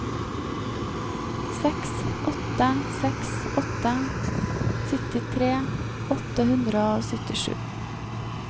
seks åtte seks åtte syttitre åtte hundre og syttisju